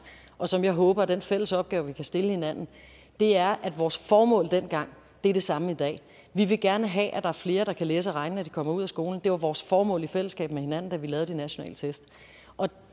og som jeg håber er den fælles opgave vi kan stille hinanden er at vores formål dengang er det samme i dag vi vil gerne have at er flere der kan læse og regne når de kommer ud af skolen det var vores formål i fællesskab med hinanden da vi lavede de nationale test og